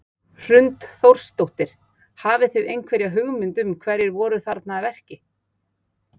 Hrund Þórsdóttir: Og hafi þið einhverja hugmynd um hverjir voru þarna að verki?